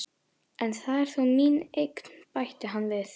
En það er þó mín eign, bætti hann við.